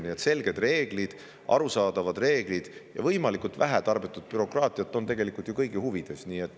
Nii et selged ja arusaadavad reeglid ning võimalikult vähe tarbetut bürokraatiat on ju tegelikult kõigi huvides.